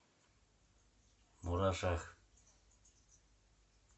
мурашах